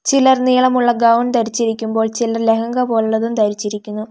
ചിലർ നീളമുള്ള ഗൗൺ ധരിച്ചിരിക്കുമ്പോൾ ചിലർ ലഹങ്ക പോലുള്ളതും ധരിച്ചിരിക്കുന്നു.